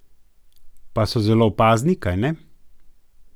Pa so zelo opazni, kajne?